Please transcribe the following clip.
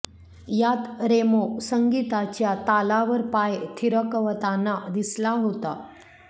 यात रेमो संगीताच्या तालावर पाय थिरकवताना दिसला होता